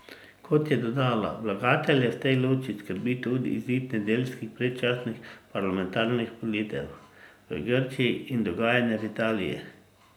Kot je dodala, vlagatelje v tej luči skrbi tudi izid nedeljskih predčasnih parlamentarnih volitev v Grčiji in dogajanje v Italiji.